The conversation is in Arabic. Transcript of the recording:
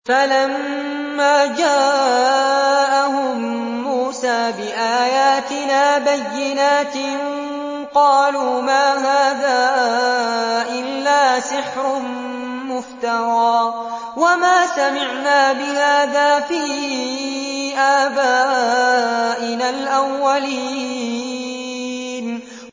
فَلَمَّا جَاءَهُم مُّوسَىٰ بِآيَاتِنَا بَيِّنَاتٍ قَالُوا مَا هَٰذَا إِلَّا سِحْرٌ مُّفْتَرًى وَمَا سَمِعْنَا بِهَٰذَا فِي آبَائِنَا الْأَوَّلِينَ